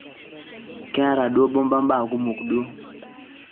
keeta duo bomba mbaa kumokn duo